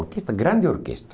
Orquestra, grande orquestra.